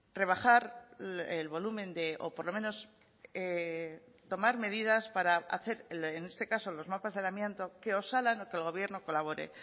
rebajar el volumen o por lo menos tomar medidas para hacer en este caso los mapas del amianto que osalan o que el gobierno colabore